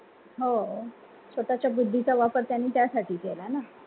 हो, स्वतःच्या बुद्धीचा वापर त्यांनी त्यासाठी केलाना